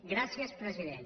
gràcies president